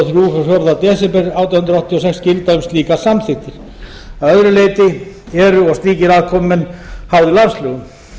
frá fjórða desember átján hundruð áttatíu og sex gilda um slíkar samþykktir að öðru leyti eru og slíkir aðkomumenn háðir landslögum